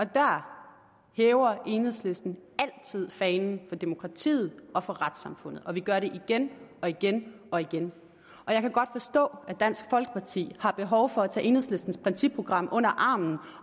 der hæver enhedslisten altid fanen for demokratiet og for retssamfundet og vi gør det igen og igen og igen jeg kan godt forstå at dansk folkeparti har behov for at tage enhedslistens principprogram under armen